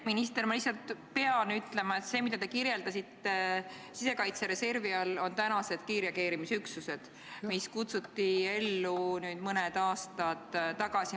Minister, ma lihtsalt pean ütlema, et see, mida te kirjeldasite sisekaitsereservi all, on kiirreageerimisüksused, mis kutsuti ellu mõni aasta tagasi.